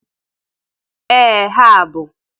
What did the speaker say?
Ee ha bụ.